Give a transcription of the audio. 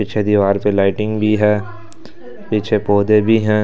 पीछे दीवार पर लाइटिंग भी है पीछे पौधे भी हैं।